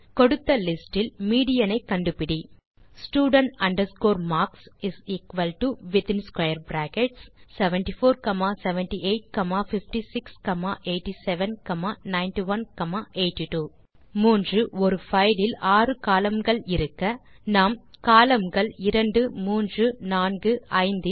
கொடுத்த லிஸ்டில் மீடியன் ஐ கண்டுபிடி student marks is equal to within square brackets 747856879182 மற்றும் மூன்றாவது கேள்வி ஒரு பைல் இல் 6 கோலம்ன் கள் இருக்க நாம் கோலம்ன் கள் 2345